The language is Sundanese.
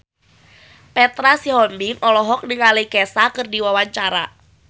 Petra Sihombing olohok ningali Kesha keur diwawancara